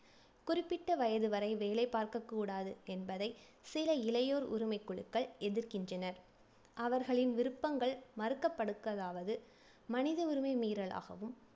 குறிப்பிட்ட வயது வரை வேலை பார்க்கக்கூடாது என்பதை சில இளையோர் உரிமை குழுக்கள் எதிர்க்கின்றனர். அவர்களின் விருப்பங்கள் மறுக்கப்படுக்கதாவது, மனித உரிமை மீறலாகவும்,